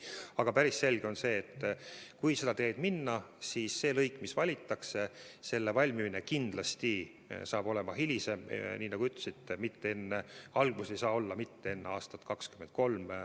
Aga on päris selge, et kui seda teed minna, siis valitud lõigu valmimine kindlasti saab olema hilisem, nagu te ütlesite, algus ei saa olla enne aastat 2023.